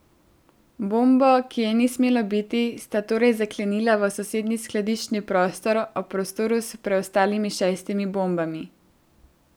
Bombo, ki je ni smelo biti, sta torej zaklenila v sosednji skladiščni prostor ob prostoru s preostalimi šestimi bombami.